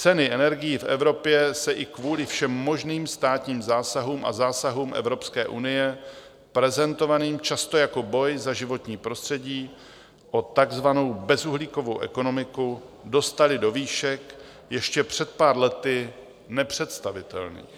Ceny energií v Evropě se i kvůli všem možných státním zásahům a zásahům Evropské unie prezentovaným často jako boj za životní prostředí o takzvanou bezuhlíkovou ekonomiku dostaly do výšek ještě před pár lety nepředstavitelných.